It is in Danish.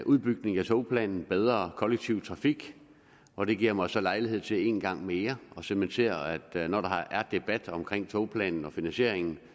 udbygning af togplanen og bedre kollektiv trafik og det giver mig så lejlighed til en gang mere at cementere at når der er debat omkring togplanen og finansieringen